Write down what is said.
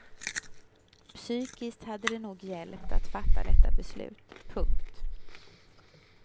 Psykiskt hade det nog hjälpt att fatta detta beslut. punkt